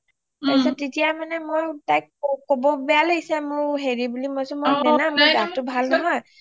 তাৰ পিছত তেতিয়া মানে মোৰ তাইক কব বেয়া লাগিছে মোৰ হেৰি বুলি Naina মোৰ গাটো ভাল নহয়